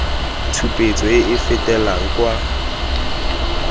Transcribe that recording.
tshupetso e e fetelang kwa